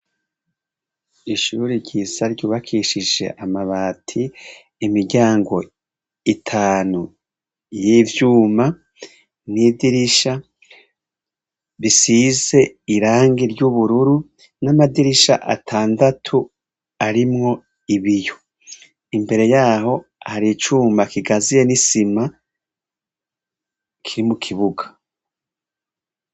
Ishure ryiza ryubakishije amabati, imiryango itanu y'ivyuma, n'idirisha risize irangi ry'ubururu, n'amadirisha atandatu arimwo ibiyo. Imbere y'aho, hari icuma gikaziye n'isima kiri mukibuga.